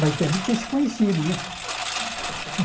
Mas devem ter se conhecido, né?